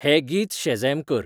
हें गीत शझॅम कर